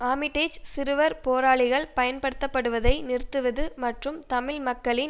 ஆமிடேஜ் சிறுவர் போராளிகள் பயன்படுத்தப்படுவதை நிறுத்துவது மற்றும் தமிழ் மக்களின்